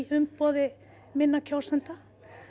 umboði minna kjósenda